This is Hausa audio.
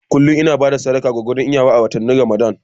Kullum ina bayar da sadaka gwargwadon iyawa a watannin Ramadan.